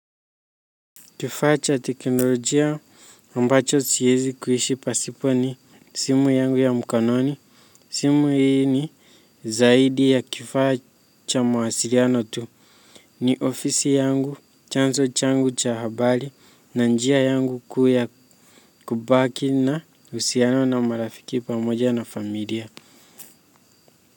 Kifaa cha teknolojia ambacho siwezi kuishi pasipo ni simu yangu ya mkononi. Simu hii ni zaidi ya kifaa cha mawasiliano tu. Ni ofisi yangu chanzo changu cha habari na njia yangu kubaki na uhusiano na marafiki pamoja na familia.